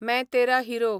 मैं तेरा हिरो